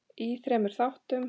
í þremur þáttum.